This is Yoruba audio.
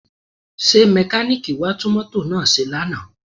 Ṣé mẹkáníìkì wá tún mọ́tò náà ṣe lánàá?